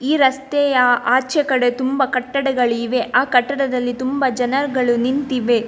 ಈ ರಸ್ತೆಯ ಆಚೆ ಕಡೆ ತುಂಬ ಕಟ್ಟಡಗಳಿವೆ ಆ ಕಟ್ಟಡದಲ್ಲಿ ತುಂಬ ಜನರುಗಳು ನಿಂತಿವೆ.